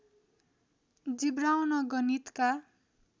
जिब्राउन गणितका